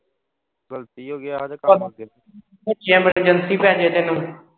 ਉਹ ਪੈਹੇ ਤੈਨੂੰ।